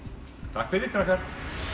takk fyrir krakkar